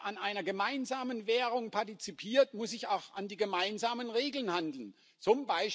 Wer an einer gemeinsamen Währung partizipiert, muss sich auch an die gemeinsamen Regeln halten, z.